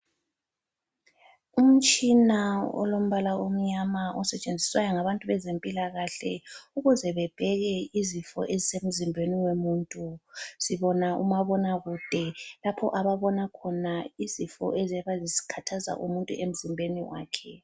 Umtshina olombala omnyama osetshenziswayo ngabezempilakahle ukuze bebheke izifo ezisemzimbeni womuntu. Sibona umabonakude lapho ababona khona izifo eziyabe zikhathaza umuntu emzimbeni wakhe.